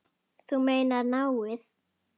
Þú meinar náið?